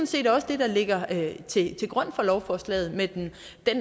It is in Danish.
set også det der ligger til grund for lovforslaget med den